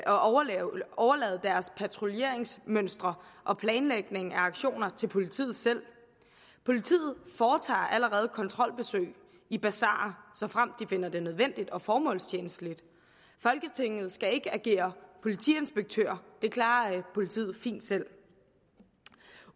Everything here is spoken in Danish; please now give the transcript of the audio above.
at overlade patruljeringsmønstre og planlægning af aktioner til politiet selv politiet foretager allerede kontrolbesøg i basarer såfremt de finder det nødvendigt og formålstjenligt folketinget skal ikke agere politiinspektører det klarer politiet fint selv